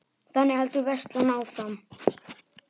Og þannig heldur veislan áfram.